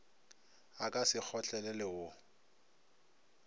a ka se kgotlelelwe wo